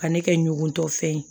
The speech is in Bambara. Ka ne kɛ ɲugutɔ fɛn ye